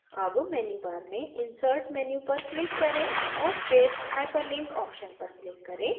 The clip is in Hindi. अब मेन्यूबार में insert menu पर click करें और फिर hyperlink option पर click करें